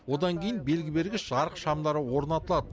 одан кейін белгі бергіш жарық шамдары орнатылады